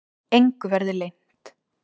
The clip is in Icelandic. Engu verði leynt.